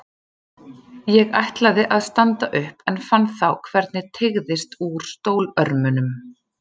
Ég ætlaði að standa upp en fann þá hvernig teygðist úr stólörmunum.